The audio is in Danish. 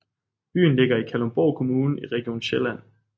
Byen ligger i Kalundborg Kommune i Region Sjælland